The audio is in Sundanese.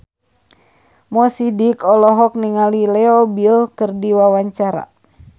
Mo Sidik olohok ningali Leo Bill keur diwawancara